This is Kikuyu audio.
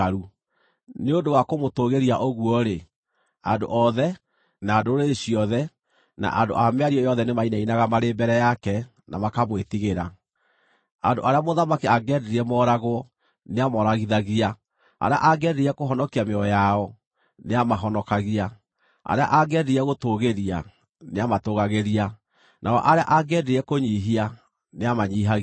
Nĩ ũndũ wa kũmũtũgĩria ũguo-rĩ, andũ othe, na ndũrĩrĩ ciothe, na andũ a mĩario yothe nĩmainainaga marĩ mbere yake na makamwĩtigĩra. Andũ arĩa mũthamaki angĩendire mooragwo nĩamooragithagia; arĩa angĩendire kũhonokia mĩoyo yao, nĩamahonokagia; arĩa angĩendire gũtũũgĩria, nĩamatũgagĩria; nao arĩa angĩendire kũnyiihia, nĩamanyiihagia.